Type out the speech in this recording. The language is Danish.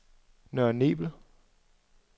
Nørre Nebel